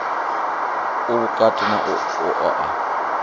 u vhukati na u oa